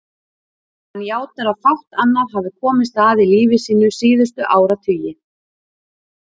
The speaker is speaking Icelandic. Hann játar að fátt annað hafi komist að í lífi sínu síðustu áratugi.